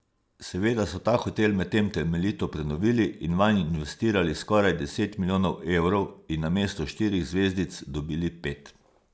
Seveda so ta hotel medtem temeljito prenovili in vanj investirali skoraj deset milijonov evrov in namesto štirih zvezdic dobili pet.